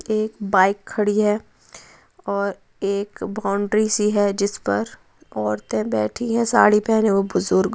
एक बाइक खड़ी है और एक बाउंड्री सी है जिस पर औरतें बैठी है। साड़ी पहने वह बुजुर्ग--